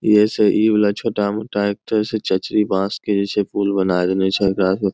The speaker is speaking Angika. ई ऐसै ई बला छोटा-मोटा एकठो ऐसै चचरी बाँस के जे छै पुल बनाय देने छै --